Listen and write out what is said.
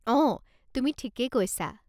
অ, তুমি ঠিকেই কৈছা।